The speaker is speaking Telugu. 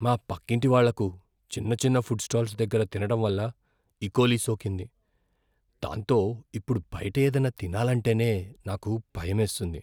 మా పక్కింటి వాళ్ళకు చిన్న చిన్న ఫుడ్ స్టాల్స్ దగ్గర తినడం వల్ల ఇకోలీ సోకింది. దాంతో ఇప్పుడు బయట ఏదైనా తినాలంటేనే నాకు భయమేస్తుంది.